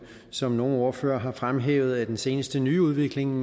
som nogle ordførere har fremhævet den seneste nyudvikling